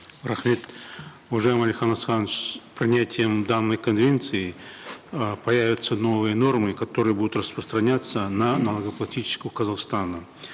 рахмет уважаемый алихан асханович с принятием данной конвенции э появятся новые нормы которые будут распространяться на налогоплательщиков казахстана